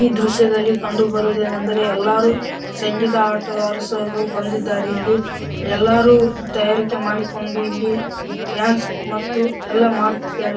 ಈ ದೃಶ್ಯದಲ್ಲಿ ಕಂಡು ಬರುವುದೇನೆಂದರೆ ಎಲ್ಲರೂ ಸಂಗೀತ ಆಟಗಾರರು ಸರ್ ಬಂದಿದ್ದಾರೆ ಇಲ್ಲಿ ಎಲ್ಲರೂ ತಯಾರಿಕೆ ಮಾಡಿಕೊಂಡು ಇಲ್ಲಿ ಡ್ಯಾನ್ಸ್‌ ಮತ್ತು ಎಲ್ಲಾ ಮಾಡುತ್ತಿದ್ದಾರೆ .